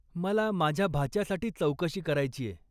मला माझ्या भाच्यासाठी चौकशी करायचीय.